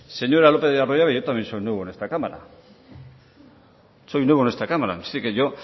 señora lópez de arroyabe yo también soy nuevo en esta cámara soy nuevo en esta cámara así que yo